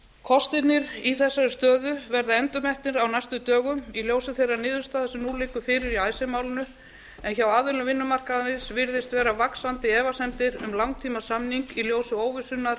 kostirnir í þessari stöðu verða endurmetnir á næstu dögum í ljósi þeirrar niðurstöðu sem nú liggur fyrir í icesave málinu en hjá aðilum vinnumarkaðarins virðast vera vaxandi efasemdir um langtímasamning í ljósi óvissunnar